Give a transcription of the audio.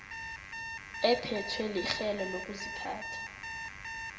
ephethwe lirhelo lokuziphatha